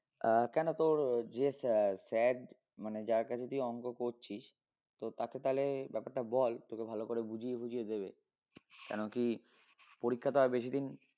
আহ কেন তোর যে sir মানে যার কাছে তুই অংক করছিস তো তাকে তালে ব্যাপারটা বল তোকে ভালো করে বুঝিয়ে বুঝিয়ে দিবে কেন কি পরীক্ষা তো আর বেশি দিন